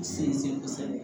Sinsin kosɛbɛ